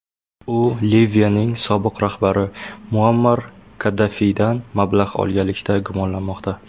U Liviyaning sobiq rahbari Muammar Kaddafiydan mablag‘ olganlikda gumonlanmoqda.